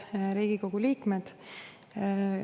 Head Riigikogu liikmed!